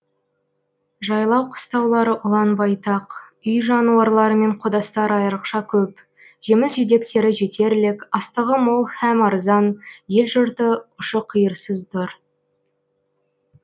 жайлау қыстаулары ұлан байтақ үй жануарлары мен қодастар айрықша көп жеміс жидектері жетерлік астығы мол һәм арзан ел жұрты ұшы қиырсыз дұр